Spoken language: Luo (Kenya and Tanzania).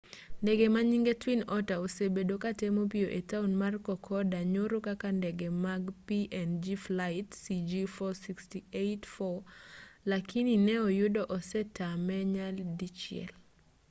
ndege manyinge twin otter osebedo katemo pio e taon mar kokoda nyoro kaka ndege mar png flight cg4684 lakini ne oyudo osetame nyadi chiel